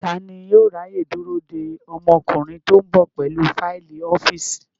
Tani yóò ráyè dúró de ọmọkùnrin tó ń bọ̀ pẹ̀lú fáìlì ọ́fíìsì?